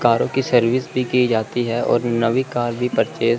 कारों की सर्विस भी की जाती है और नवी कार भी परचेज --